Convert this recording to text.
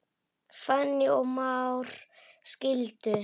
Fanný og Már skildu.